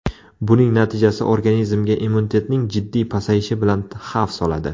Buning natijasi organizmga immunitetning jiddiy pasayishi bilan xavf soladi.